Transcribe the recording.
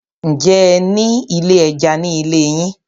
Ǹjẹ́ ẹ ní ilé ẹja ní ilé yín?